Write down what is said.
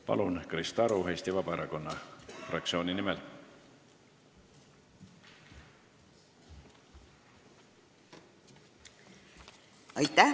Palun, Krista Aru Eesti Vabaerakonna fraktsiooni nimel!